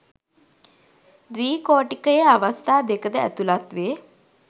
ද්විකෝටිකයේ අවස්ථා දෙක ද ඇතුළත් වේ